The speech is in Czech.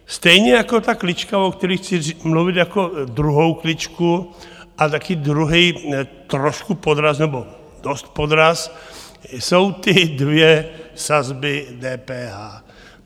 Stejně jako ta klička, o které chci mluvit, jako druhá klička a také druhý trošku podraz nebo dost podraz, jsou ty dvě sazby DPH.